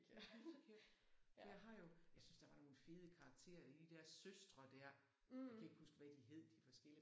Det hyggeligt. For jeg har jo jeg synes der var nogle fede karakterer i de der søstre der. Jeg kan ikke huske hvad de hed de de forskellige